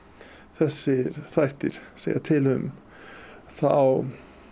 þessir þættir segja til um þá